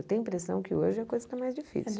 Eu tenho a impressão que hoje é a coisa que é mais difícil.